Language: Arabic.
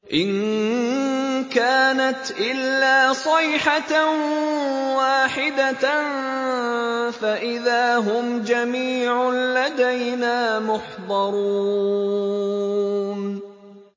إِن كَانَتْ إِلَّا صَيْحَةً وَاحِدَةً فَإِذَا هُمْ جَمِيعٌ لَّدَيْنَا مُحْضَرُونَ